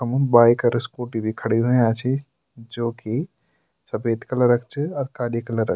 वखम बाइक और स्कूटी भी खाड़ी हुयां छि जोकि सफ़ेद कलर क च और काली कलर क।